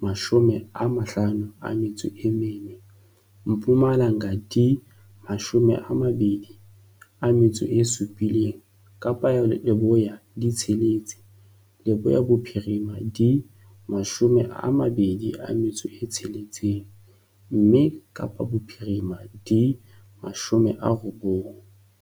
54, Mpumalanga di 27, Kapa Leboya di tsheletse, Leboya Bophirima di 26, mme Kapa Bophirima di 90.